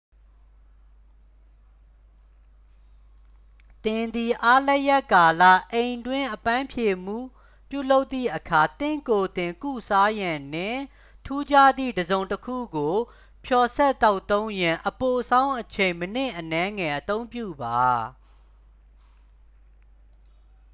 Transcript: သင်သည် အားလပ်ရပ်ကာလ အိမ်တွင်းအပန်းဖြေမှုပြုလုပ်သည့်အခါ သင့်ကိုယ်သင် ကုစားရန်နှင့် ထူးခြားသည့် တစ်စုံတစ်ခုကို ဖျော်စပ်သောက်သုံးရန် အပိုဆောင်းအချိန် မိနစ်အနည်းငယ် အသုံးပြုပါ